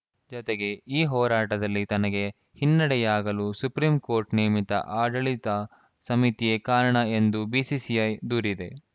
ಜತೆಗೆ ಈ ಹೋರಾಟದಲ್ಲಿ ತನಗೆ ಹಿನ್ನಡೆಯಾಗಲು ಸುಪ್ರೀಂ ಕೋರ್ಟ್‌ ನೇಮಿತ ಆಡಳಿತ ಸಮಿತಿಯೇ ಕಾರಣ ಎಂದು ಬಿಸಿಸಿಐ ದೂರಿದೆ